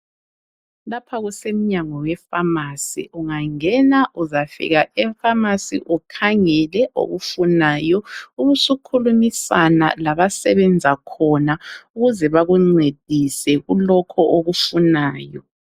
Lapha kusemnyango wefamasi, ungangena uzafika efamasi ukhangele okufunayo ubusukhulumisana labasebenza khona ukuze bakuncedise kulokho okufunayo.